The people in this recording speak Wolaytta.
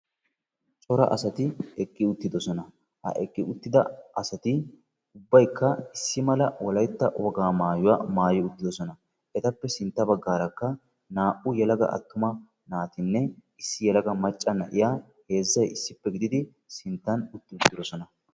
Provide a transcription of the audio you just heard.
cora asati eqqi uttidoosona. ha eqqi uttida asati ubbaykka Wolaytta wogaa maayuwaa maayyi uttidoosona, etappe sintta baggaarakka naa''u attuma naatinne issi yelaga macca na'iyaa heezzay issippe gididi sintta utti uttidoosona.